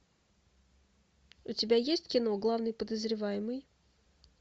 у тебя есть кино главный подозреваемый